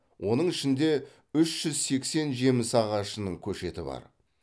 оның ішінде үш жүз сексен жеміс ағашының көшеті бар